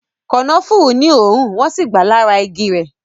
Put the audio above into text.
Kànáfùrú ní òórùn, wọn si gba lára igi rẹ